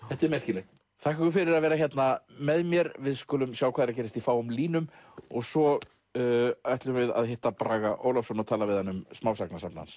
þetta er merkilegt þakka ykkur fyrir að vera hérna með mér við skulum sjá hvað er að gerast í fáum línum svo ætlum við að hitta Braga Ólafsson og tala við hann um smásagnasafn hans